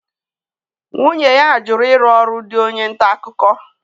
Nwunye ya jụrụ ịrụ ọrụ dị onye nta akụkọ.